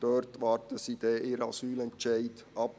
Dort warten sie dann ihren Asylentscheid ab.